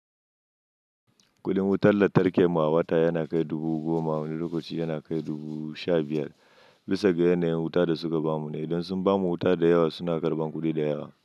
Kudin wutar lantarki mu a wata yana kai dubu goma, wani lokaci yana kai dubu sha biyar, bisa ga yanayin wuta da suka bamu ne. Idan sun bamu wuta da yawa, suna karɓan kuɗi da yawa.